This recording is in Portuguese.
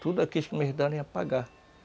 ia pagar.